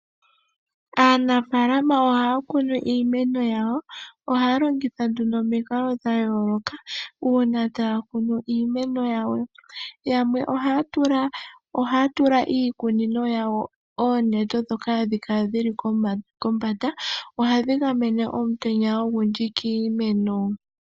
Aanafaalama ohaya kunu iimeno yawo, ohaya longitha nduno omikalo dhayooloka uuna taya kunu iimeno yawo. Yamwe ohaya tula iikunino yawo oonete dhoka hadhi kala dhili kombanda ohadhi gamene omutenya ogundji kiimeno.